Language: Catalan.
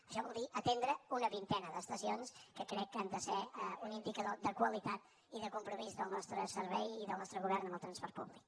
això vol dir atendre una vintena d’estacions que crec que han de ser un indicador de qualitat i de compromís del nostre servei i del nostre govern amb el transport públic